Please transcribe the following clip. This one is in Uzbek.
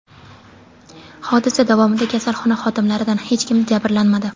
Hodisa davomida kasalxona xodimlaridan hech kim jabrlanmadi.